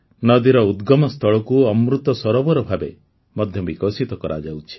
ନଦୀର ଉଦ୍ଗମ ସ୍ଥଳକୁ ଅମୃତ ସରୋବର ଭାବେ ମଧ୍ୟ ବିକଶିତ କରାଯାଉଛି